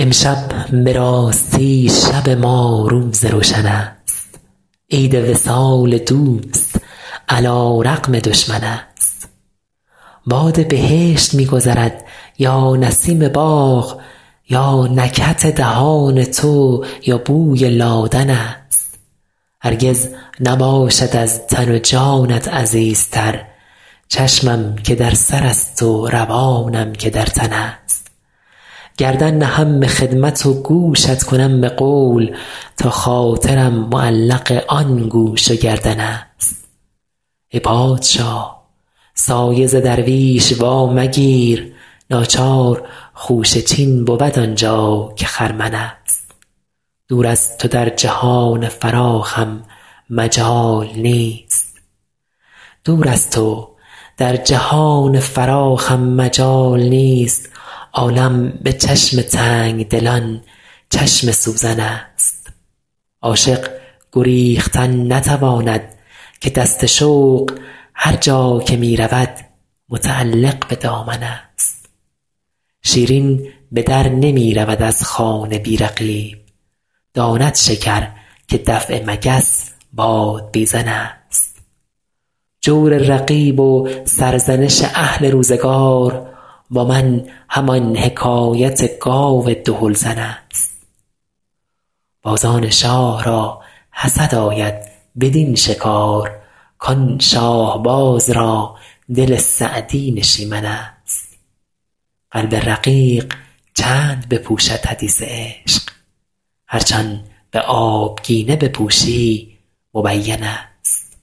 امشب به راستی شب ما روز روشن است عید وصال دوست علی رغم دشمن است باد بهشت می گذرد یا نسیم باغ یا نکهت دهان تو یا بوی لادن است هرگز نباشد از تن و جانت عزیزتر چشمم که در سرست و روانم که در تن است گردن نهم به خدمت و گوشت کنم به قول تا خاطرم معلق آن گوش و گردن است ای پادشاه سایه ز درویش وامگیر ناچار خوشه چین بود آن جا که خرمن است دور از تو در جهان فراخم مجال نیست عالم به چشم تنگ دلان چشم سوزن است عاشق گریختن نتواند که دست شوق هر جا که می رود متعلق به دامن است شیرین به در نمی رود از خانه بی رقیب داند شکر که دفع مگس بادبیزن است جور رقیب و سرزنش اهل روزگار با من همان حکایت گاو دهل زن است بازان شاه را حسد آید بدین شکار کان شاهباز را دل سعدی نشیمن است قلب رقیق چند بپوشد حدیث عشق هرچ آن به آبگینه بپوشی مبین است